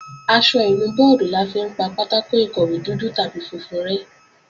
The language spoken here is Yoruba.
Aṣọ ìnu bọ́ọ̀dì la fi ń pa pátákò ìkọ̀wé dúdú tàbí funfun rẹ́